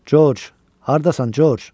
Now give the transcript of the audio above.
George, hardasan, George?